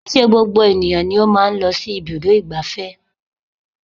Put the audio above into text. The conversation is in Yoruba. Kìí ṣe gbogbo ènìyàn ló máa ń lọ sí ibùdó ìgbáfẹ́